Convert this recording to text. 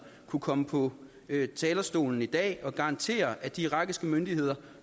kunne komme på talerstolen i dag og garantere at de irakiske myndigheder